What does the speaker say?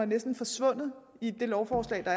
næsten forsvundet i det lovforslag der